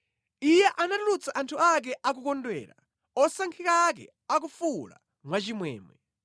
Iye anatulutsa anthu ake akukondwera, osankhika ake akufuwula mwachimwemwe;